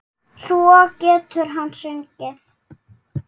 Svo getur hann sungið.